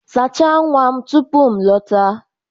Sachaa nwa m tupu m lọta.